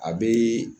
A bɛ